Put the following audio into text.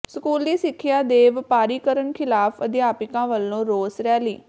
ਸਕੂਲੀ ਸਿੱਖਿਆ ਦੇ ਵਪਾਰੀਕਰਨ ਖ਼ਿਲਾਫ਼ ਅਧਿਆਪਕਾਂ ਵੱਲੋਂ ਰੋਸ ਰੈਲੀ